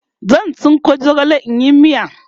zan. tsinko zogale in yi miya